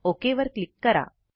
okay वर क्लिक करा